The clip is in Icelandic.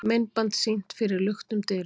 Myndband sýnt fyrir luktum dyrum